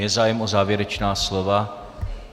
Je zájem o závěrečná slova?